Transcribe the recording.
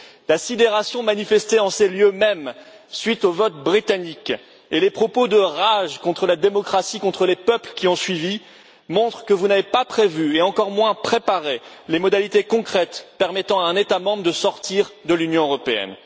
La sidération manifestée en ces lieux mêmes à la suite du vote britannique et les propos de rage contre la démocratie et contre les peuples qui ont suivi montrent que vous n'avez pas prévu, et encore moins préparé, les modalités concrètes permettant à un État membre de sortir de l'Union européenne.